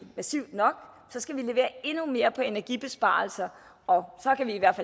massivt nok skal vi levere endnu mere på energibesparelser og så kan vi i hvert